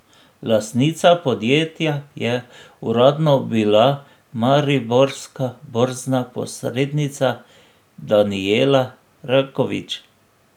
Lastnica podjetja je uradno bila mariborska borzna posrednica Danijela Rakovič.